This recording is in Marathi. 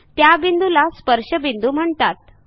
त्या बिंदूला स्पर्शबिंदू म्हणतात